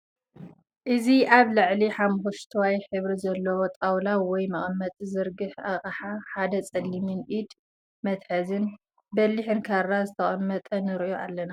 እዚ ኣብ ልዕሊ ሓመኹስታይ ሕብሪ ዘለዎ ጣውላ ወይ መቐመጢ ዘርጋሕ ኣቕሓ ሓደ ፀሊምን ኢድ መትሓዚን በሊሕን ካራ ዝተቐመጠ ንሪኦ ኣለና።